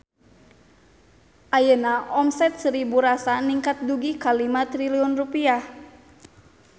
Ayeuna omset Seribu Rasa ningkat dugi ka 5 triliun rupiah